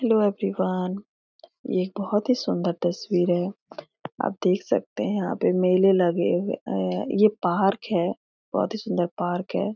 Hello everyone ये एक बहोत ही सुन्दर तस्वीर है आप देख सकते है यहाँ पे मेले लगे हुए ये पार्क है बहोत ही सुन्दर पार्क है।